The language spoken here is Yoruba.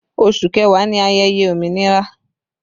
Oṣù kẹwàá ni ayẹyẹ òmìnira